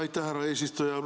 Aitäh, härra eesistuja!